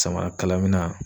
Samara kalaminan